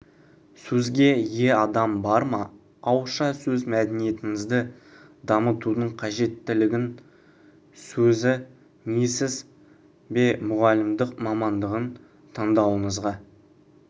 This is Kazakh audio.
сөзге ие адам бар ма ауызша сөз мәдениетіңізді дамытудың қажеттілігін сезінесіз бе мұғалімдік мамандығын таңдауыңызға